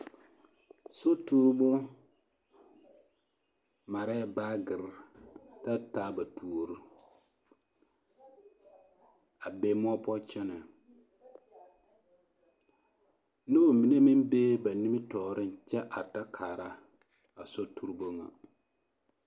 Sotuuribu marɛɛ baagiri ta taa ba tuori a be moɔ poɔ kyɛnɛ noba mine meŋ bee ba nimitɔɔreŋ kyɛ are ta kaara a sotuuribu ŋa.